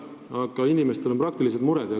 Aga inimestel on praktilised mured.